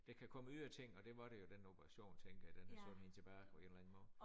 Der kan komme ydre ting og det var det jo den operation tænker jeg den har sat hende tilbage på en eller anden måde